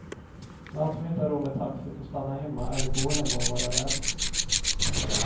Den som inte har råd med taxi får stanna hemma eller gå hem och vara rädd.